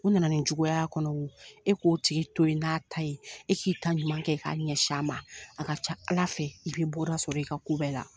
U na na nin juguya y'a kɔnɔ wo e k'o tigi to ye n'a ta ye e k'i ta ɲuman kɛ k'a ɲɛsin a ma a ka ca Ala fɛ i bɛ bɔda sɔrɔ i ka kow bɛɛ la.